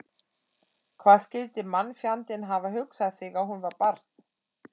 Hvað skyldi mannfjandinn hafa hugsað þegar hún var barn?